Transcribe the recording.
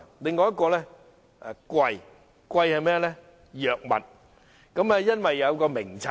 第二是藥物昂貴，因為設有《藥物名冊》。